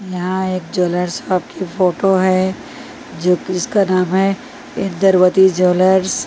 यहाँ एक jeweller shop की फोटो है जो जिसका नाम है इंद्रवती ज्वेलर्स --